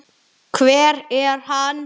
Hver er hann?